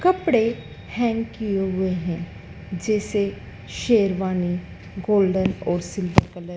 कपड़े हैंग किए हुए हैं जैसे शेरवानी गोल्डन और सिल्वर कलर --